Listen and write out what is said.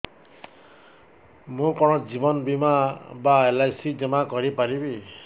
ମୁ କଣ ଜୀବନ ବୀମା ବା ଏଲ୍.ଆଇ.ସି ଜମା କରି ପାରିବି